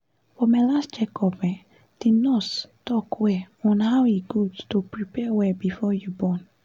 for my last check up um the nurse talk well on how e good to prepare well before you born